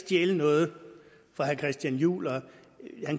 stjæle noget fra herre christian juhl han